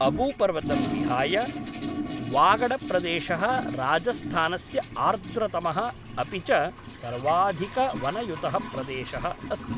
अबूपर्वतं विहाय, वागडप्रदेशः राजस्थानस्य आर्द्रतमः अपि च सर्वाधिकवनयुतः प्रदेशः अस्ति।